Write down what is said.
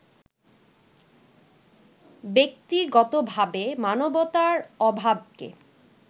ব্যক্তিগতভাবে মানবতার অভাবকে